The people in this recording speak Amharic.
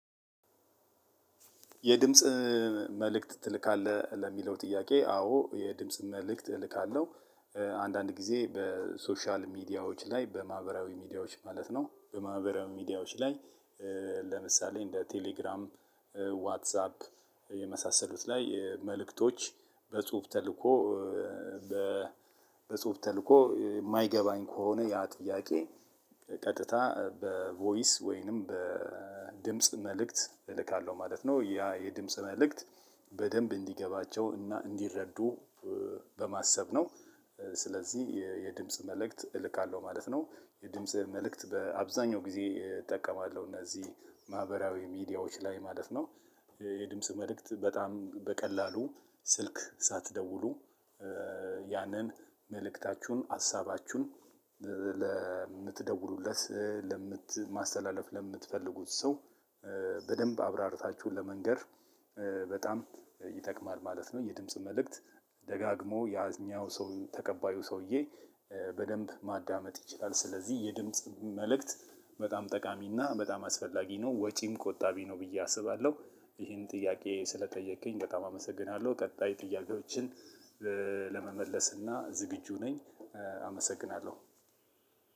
የድምጽ መልእክት ትልካለህ ለሚለው ጥያቄ አወ የድምጽ መልእክት እልካለሁ። አንዳንድ ጊዜ በሶሻል ሚዲያዎች ላይ በማህበራዊ ሚዲያዎች ማለት ነው በማህበራዊ ሚዲያዎች። ለምሳሌ እንደ ቴሌግራም ዋትሳፕ የመሳሰሉት ላይ መልእክቶች በጽሁፍ ተልእኮ በጽሁፍ ተልእኮ የማይገባኝ ከሆነ ያ ጥያቄ ቀጥታ በቮይስ ወይንም በድምጽ መልእክት እልካለሁ ማለት ነው። ያ የድምጽ መልእክት በደንብ እንዲገባቸው እና እንዲረዱ በማሰብ ነው። ስለዚህ የድምጽ መልእክት እልካለሁ ማለት ነው። የድምጽ መልእክት በአብዛኛው ጊዜ እጠቀማለሁ እነዚህ ማህበራዊ ሚዲያዎች ላይ ማለት ነው። የድምጽ መልእክት በጣም በቀላሉ ስልክ ሳትደውሉ ያንን መልእክታችሁን ሀሳባችሁን ለምትደዉሉለት ማስተላለፍ ለምትፈልጉት ሰው በደንብ አብራርታችሁ ለመንገር በጣም ይጠቅማል ማለት ነው። የድምጽ መልእክት ደጋግሞ ያኛው ሰው ተቀባዩ ሰውዬ በደንብ ማዳመጥ ይችላል። ስለዚህ የድምጽ መልእክት በጣም ጠቃሚና በጣም አስፈላጊ ነው ወጪም ቆጣቢ ነው ብዬ አስባለሁ። ይሄን ጥያቄ ስለጠየከኝ በጣም አመሰግናለሁ። ቀጣይ ጥያቄዎችን ለመመለስ እና ዝግጁ ነኝ። አመሰግናለሁ።